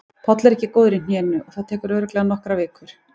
Páll er ekki góður í hnénu og það tekur örugglega nokkrar vikur.